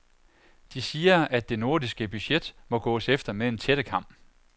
De siger at det nordiske budget må gås efter med en tættekam.